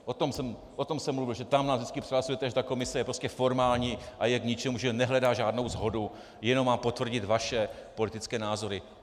O tom jsem mluvil, že tam nás vždycky přehlasujete, že ta komise je prostě formální a je k ničemu, že nehledá žádnou shodu, jenom má potvrdit vaše politické názory.